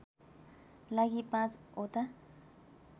लागि ५ ओटा